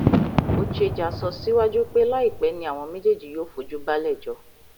ochejà sọ síwájú pé láìpẹ ni àwọn méjèèjì yóò fojú balẹẹjọ